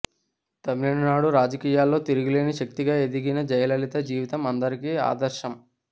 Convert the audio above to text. తమిళనాడు రాజకీయాల్లో తిరుగులేని శక్తిగా ఎదిగిన జయలలిత జీవితం అందరికీ ఆదర్శం